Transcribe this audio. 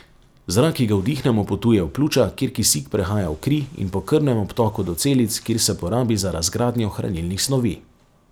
Zrak, ki ga vdihnemo, potuje v pljuča, kjer kisik prehaja v kri in po krvnem obtoku do celic, kjer se porabi za razgradnjo hranilnih snovi.